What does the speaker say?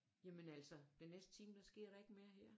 Jamen altså den næste time der sker der ikke mere her